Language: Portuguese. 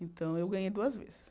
Então eu ganhei duas vezes.